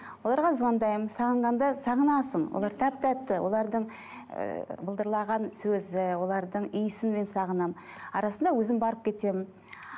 оларға звондаймын сағынғанда сағынасың олар тәп тәтті олардың ы былдырлаған сөзі олардың иісін мен сағынамын арасында өзім барып кетемін